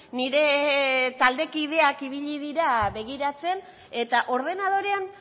nire taldekideak ibili dira begiratzen eta ordenadorean